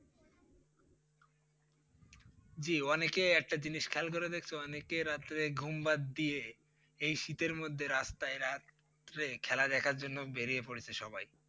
জি অনেকে একটা জিনিস খেয়াল করে দেখছো অনেকে রাত্রে ঘুম বাদ দিয়ে এই শীতের মধ্যে রাস্তায় রাত্রে খেলা দেখার জন্য বেরিয়ে পড়েছে সবাই।